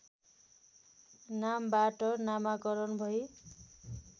नामबाट नामाकरण भई